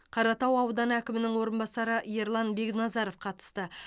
қаратау ауданы әкімінің орынбасары ерлан бекназаров қатысты